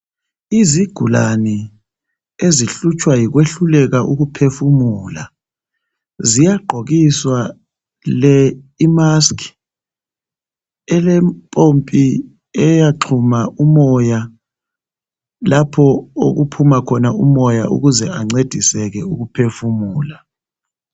Izigulane ezihlutshwa yikwehluleka ukuphefumula, ziyagqokiswa le imask elempompi eyaxhuma umoya lapho okuphuma khona umoya ukuze ancediseke ukuphefumula.